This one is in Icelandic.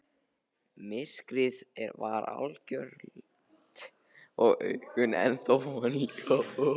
Myrkrið var algjört og augun ennþá vön ljósinu.